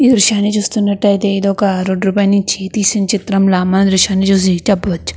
ఈ దృశ్యాన్ని చూస్తున్నట్టయితే ఇది ఒక రోడ్ పైన నుంచి తీసిన చిత్రంలా మనం ఈ దృశ్యాన్ని చూసి చెప్పవచ్చు.